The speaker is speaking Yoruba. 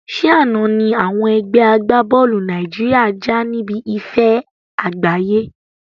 Ṣé àna ni àwọn ẹgbẹ́ agbá-bọ́ọ́lù Nàìjíríà já níbi ife àgbáyé